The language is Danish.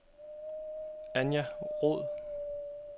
Anja Roed